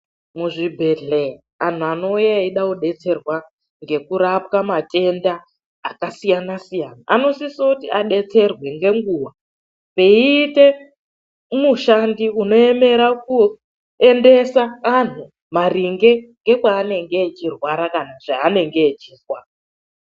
Muzvibhedhlera, anthu anouya eida kudetserwa ngekurapwa matenda akasiyana-siyana. Anosise kuti adetserwe ngenguwa. Peiita mushandi unoemera kuendesa anthu maringe ngekwa anenge achirwara kana zvaanenge echizwa.